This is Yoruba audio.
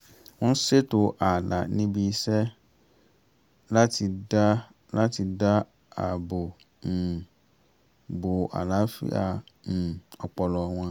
wọ́n ṣètò ààlà ní ibiṣẹ́ láti dá láti dá àbò um bo àlàáfíà um ọpọlọ wọn